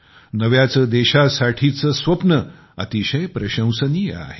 नव्या देशासाठीचे आपले स्वप्न अतिशय प्रशंसनीय आहे